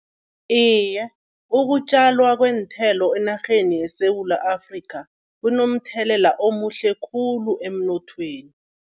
Iye, ukutjalwa kweenthelo enarheni yeSewula Afrika kunomthelela omuhle khulu emnothweni.